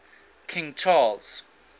king charles